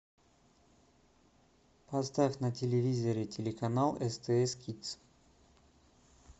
поставь на телевизоре телеканал стс кидс